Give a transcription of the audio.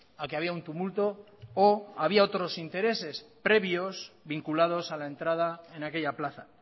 a que había un tumulto o había otros intereses previos vinculados a la entrada en aquella plaza